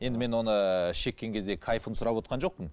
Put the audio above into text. енді мен оны шеккен кездегі кайфын сұрап отырған жоқпын